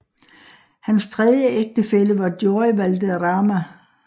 Hans tredje ægtefælle var Joy Valderrama